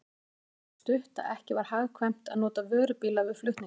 Leiðin var það stutt, að ekki var hagkvæmt að nota vörubíla við flutningana.